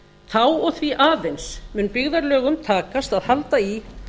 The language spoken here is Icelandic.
þá og því aðeins mun byggðarlögum takast að halda í